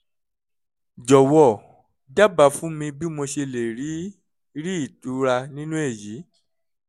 jọ̀wọ́ dábàá fún mi bí mo ṣe lè rí rí ìtura nínú èyí